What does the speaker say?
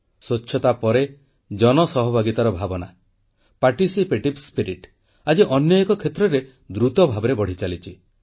ସ୍ୱଚ୍ଛତା ପରେ ଜନ ସହଭାଗିତାର ଭାବନା ଆଜି ଅନ୍ୟ ଏକ କ୍ଷେତ୍ରରେ ଦ୍ରୁତ ଭାବରେ ବଢ଼ିଚାଲିଛି